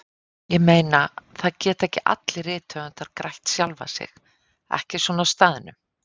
Ég meina, það geta ekki allir rithöfundar grætt sjálfa sig, ekki svona á staðnum.